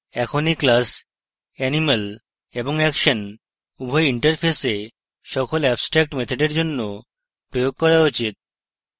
এখন এই class animal এবং action উভয় interfaces সকল abstract মেথডের জন্য প্রয়োগ করা উচিত